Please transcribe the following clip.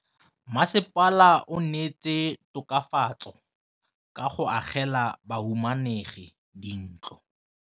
Mmasepala o neetse tokafatsô ka go agela bahumanegi dintlo.